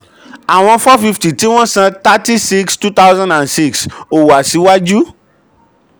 àwọn four fifty tí wọ́n san thirty six two thousand and six ò wà síwájú.